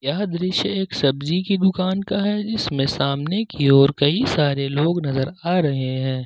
यह दृश्य एक सब्जी के दुकान का है जिसमें सामने की ओर कई सारे लोग नजर आ रहे हैं।